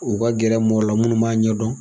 U ka gɛrɛ mɔgɔw la minnu b'a ɲɛdɔn